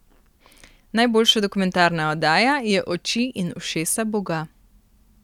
Najboljša dokumentarna oddaja je Oči in ušesa boga.